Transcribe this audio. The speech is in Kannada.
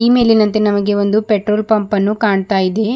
ಈ ಮೇಲಿನಂತೆ ನಮಗೆ ಒಂದು ಪೆಟ್ರೋಲ್ ಪಂಪ್ ಅನ್ನು ಕಾಣ್ತಾ ಇದೆ.